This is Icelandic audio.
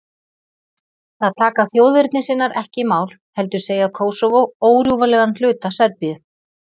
Það taka þjóðernissinnar ekki í mál, heldur segja Kósóvó órjúfanlegan hluta Serbíu.